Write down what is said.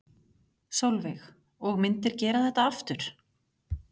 Sólveig: Og myndir gera þetta aftur?